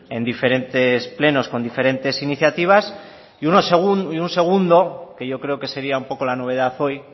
en diferentes plenos con diferentes iniciativas y un segundo que yo creo que sería un poco la novedad hoy